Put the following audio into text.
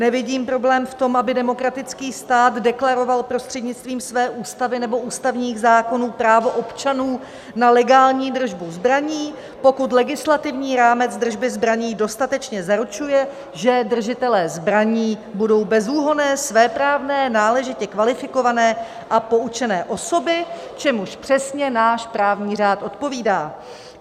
Nevidím problém v tom, aby demokratický stát deklaroval prostřednictvím své ústavy nebo ústavních zákonů právo občanů na legální držbu zbraní, pokud legislativní rámec držby zbraní dostatečně zaručuje, že držitelé zbraní budou bezúhonné, svéprávné, náležitě kvalifikované a poučené osoby, čemuž přesně náš právní řád odpovídá.